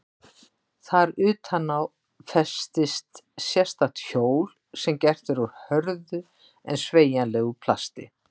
Þar utan á festist sérstakt hjól sem gert er úr hörðu en sveigjanlegu plasti.